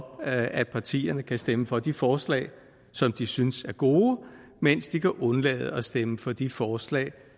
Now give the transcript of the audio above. at partierne kan stemme for de forslag som de synes er gode mens de kan undlade at stemme for de forslag